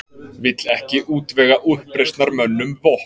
Vill ekki útvega uppreisnarmönnum vopn